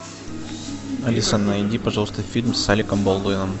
алиса найди пожалуйста фильм с алеком болдуином